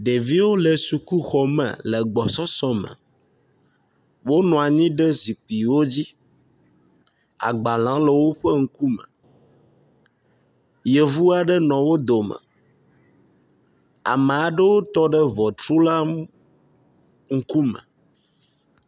ɖeviwo le sukuxɔme le gbɔsɔsɔ me wo nɔanyi ɖe zikpiwo dzi agbalawo le wóƒe ŋkume yevu aɖewo nɔ wó dome ame aɖewo tɔɖe ʋɔtru la ŋukume